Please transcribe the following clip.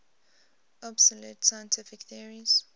obsolete scientific theories